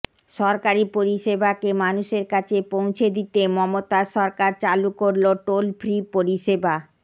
সরকারি পরিষেবাকে মানুষের কাছে পৌঁছে দিতে মমতার সরকার চালু করল টোল ফ্রি পরিষেবা